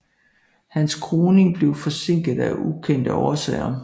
Hans kroning blev forsinket af ukendte årsager